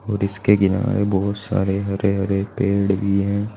और इसके किनारे बहुत सारे हरे हरे पेड़ भी है।